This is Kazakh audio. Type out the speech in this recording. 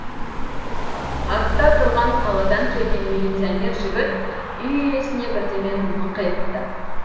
артта тұрған қаладан келген милиционер жігіт үй иесіне бірдемені мыңқ етті